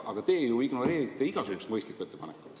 Aga teie ju ignoreerite igasuguseid mõistlikke ettepanekuid.